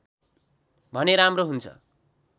भने राम्रो हुन्छ